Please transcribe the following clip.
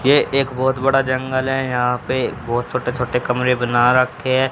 यह एक बहोत बड़ा जंगल है यहां पे बहोत छोटे छोटे कमरे बना रखे हैं।